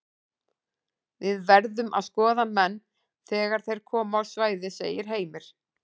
Við verðum að skoða menn þegar þeir koma á svæðið segir Heimir.